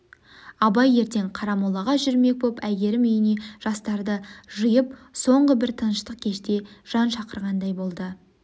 абай ертең қарамолаға жүрмек боп әйгерім үйіне жастарды жиып соңғы бір тыныштық кеште жан шақырғандай болды